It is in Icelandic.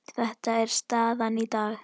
Þetta er staðan í dag.